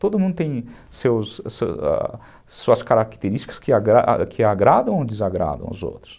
Todo mundo tem seus suas características que agradam ou desagradam os outros.